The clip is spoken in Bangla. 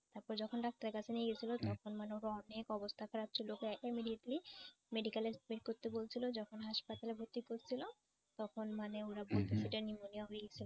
তারপরে যখন ডাক্তারের কাছে নিয়ে গেছিল তখন মানে ওর অনেক অবস্থা খারাপ ছিল ওকে immediately medical এ করতে বলছিল যখন হাসপাতালে ভর্তি করছিল তখন মানে ওরা বলতেছে এটা pneumonia হয়ে গেছিল গা।